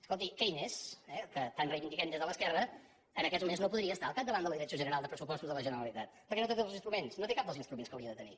escolti keynes eh que tant reivindiquem des de l’esquerra en aquests moments no podria estar al capdavant de la direcció general de pressupostos de la generalitat perquè no té tots els instruments no té cap dels instruments que hauria de tenir